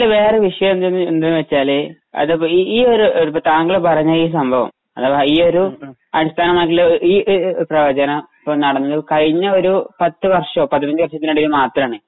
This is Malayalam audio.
വേറെ ഒരു വിഷയം എന്തെന്ന് വച്ചാല് അതിപ്പോ ഈയൊരു താങ്കൾ പറഞ്ഞ ഈ സംഭവം അഥവാ ഈയൊരു അടിസ്ഥാനമായിട്ടുള്ള ഈ പ്രവചനം നടന്നു കഴിഞ്ഞ ഒരു പത്തു വർഷോ പതിനഞ്ചു വർഷത്തിനിടയിൽ മാത്രമാണ്.